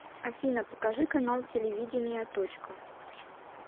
афина покажи канал телевидения точка